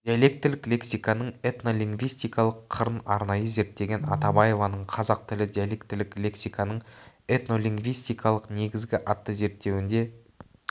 диалектілік лексиканың этнолингвистикалық қырын арнайы зерттеген атабаеваның қазақ тілі диалектілік лексикасының этнолингвистикалық негізі атты зерттеуінде